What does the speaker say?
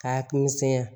K'a misɛnya